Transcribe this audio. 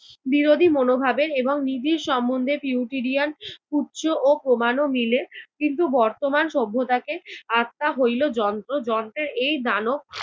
বিরোধী মনোভাবের এবং নিবিড় সম্বন্ধে পিউটিরিয়ান উৎস ও প্রমাণও মিলে। কিন্তু বর্তমান সভ্যতাকে আত্মা হইল যন্ত্র, যন্ত্রের এই দানও